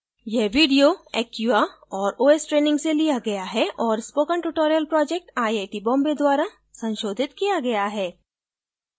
यह video acquia और os training से लिया गया है और spoken tutorial project IIT Bombay द्वारा संशोधित किया गया है